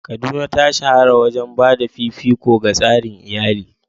Kaduna ta shahara wajen ba da fifiko ga tsarin iyali.